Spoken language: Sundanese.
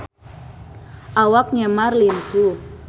Awak Neymar lintuh